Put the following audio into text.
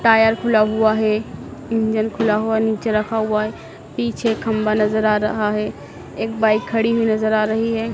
Tyre खुला हुआ है इंजन खुला हुआ नीचे रखा हुआ है पीछे खंबा नजर आ रहा है एक बाइक खड़ी हुई नजर आ रही है।